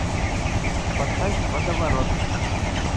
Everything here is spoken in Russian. поставь водоворот